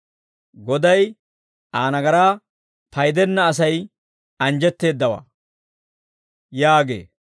Goday Aa nagaraa paydenna asay anjjetteeddawaa» yaagee.